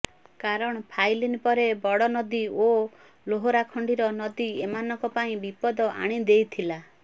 କାରଣ ଫାଇଲିନ୍ ପରେ ବଡ଼ନଦୀ ଓ ଲୋହାରାଖଣ୍ତିର ନଦୀ ଏମାନଙ୍କ ପାଇଁ ବିପଦ ଆଣି ଦେଇଥିଲା